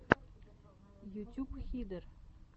ютюб хиден